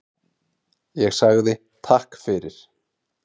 Ég sagði Takk fyrir.